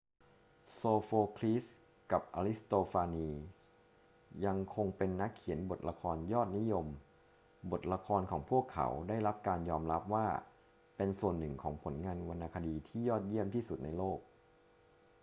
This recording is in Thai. โซโฟคลีสกับอริสโตฟานีสยังคงเป็นนักเขียนบทละครยอดนิยม บทละครของพวกเขาได้รับการยอมรับว่าเป็นส่วนหนึ่งของผลงานวรรณคดีที่ยอดเยี่ยมที่สุดในโลก